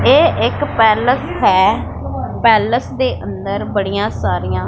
ਇਹ ਇੱਕ ਪੈਲਸ ਹੈ ਪੈਲਸ ਦੇ ਅੰਦਰ ਬੜੀਆਂ ਸਾਰੀਆਂ--